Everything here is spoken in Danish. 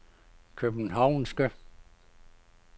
københavnske